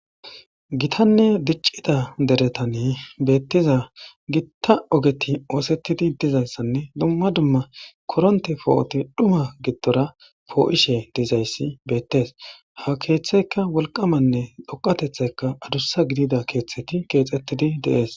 Gitanne diccida deretan beettiza gita ogeti oosetidi dizayssanne dumma dumma korontte po'oti dhuma giddora po'ishe dizayssi beettees ha keeththeykka wolqamanne dhoqqatethaykka adussa gidida keeththeti keexetidi de'es.